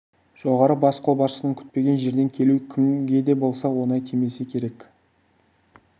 жоғары бас қолбасшының күтпеген жерден келуі кімге де болса оңай тимесе керек